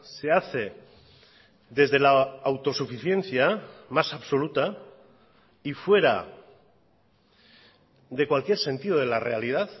se hace desde la autosuficiencia más absoluta y fuera de cualquier sentido de la realidad